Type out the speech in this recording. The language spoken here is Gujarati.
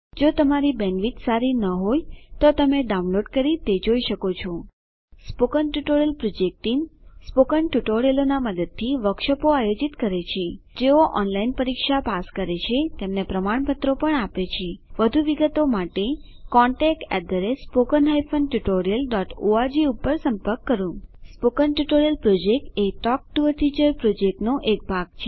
જો તમારી બેન્ડવિડ્થ સારી ન હોય તો તમે ડાઉનલોડ કરી તે જોઈ શકો છો સ્પોકન ટ્યુટોરીયલ પ્રોજેક્ટ ટીમ160 સ્પોકન ટ્યુટોરીયલોનાં મદદથી વર્કશોપોનું આયોજન કરે છે જેઓ ઓનલાઈન પરીક્ષા પાસ કરે છે તેમને પ્રમાણપત્રો આપે છે વધુ વિગતો માટે contactspoken tutorialorg પર સંપર્ક કરો સ્પોકન ટ્યુટોરીયલ પ્રોજેક્ટ એ ટોક ટુ અ ટીચર પ્રોજેક્ટનો એક ભાગ છે